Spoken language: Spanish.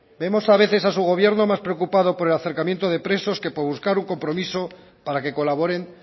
vemos a veces a su gobierno más preocupado por el acercamiento de presos que por buscar un compromiso para que colaboren